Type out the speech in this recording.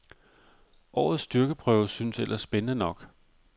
Årets styrkeprøve synes ellers spændende nok.